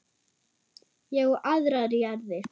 Ég á aðrar jarðir.